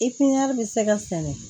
I piɲɛri bɛ se ka sɛnɛ